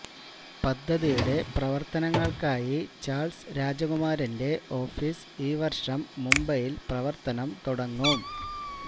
പദ്ധതിയുടെ പ്രവര്ത്തനങ്ങള്ക്കായി ചാള്സ് രാജകുമാരന്റെ ഓഫീസ് ഈ വര്ഷം മുംബൈയില് പ്രവര്ത്തനം തുടങ്ങും